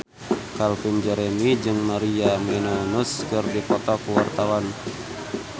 Calvin Jeremy jeung Maria Menounos keur dipoto ku wartawan